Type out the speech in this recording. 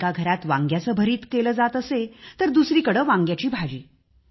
एका घरात वांग्याचे भरीत केले जात असे तर दुसरीकडे वांग्याची भाजी